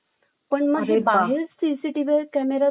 CCTV camera रस्त्यावर असल्यामुळे